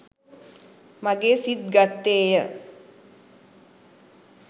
මගේ සිත් ගත්තේය